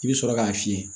I bɛ sɔrɔ k'a fiyɛ